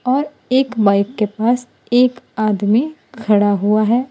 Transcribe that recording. और एक बाइक के पास एक आदमी खड़ा हुआ है।